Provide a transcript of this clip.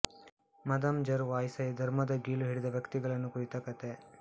ಮದಾಂ ಜರ್ ವಾಯ್ಸಾಯ್ ಧರ್ಮದ ಗೀಳು ಹಿಡಿದ ವ್ಯಕ್ತಿಗಳನ್ನು ಕುರಿತ ಕಥೆ